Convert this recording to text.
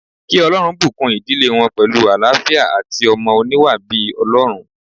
Kí Olórun bùkún ìdílé wọn pẹ̀lú àlááfíà àti ọmọ oníwà bíi Ọlọ́run